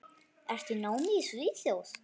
Ertu í námi í Svíþjóð?